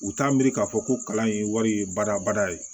U t'a miiri k'a fɔ ko kalan in wari ye badabada ye